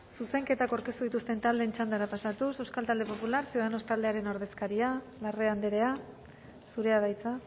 zuzenketak aurkeztu dituzten taldeen txandara pasatuz euskal talde popular ciudadanos taldearen ordezkaria larrea andrea zurea da hitza